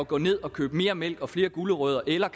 gå ned og købe mere mælk købe flere gulerødder eller